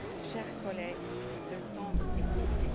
Chers collègues, le temps est compté.